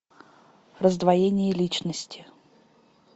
раздвоение личности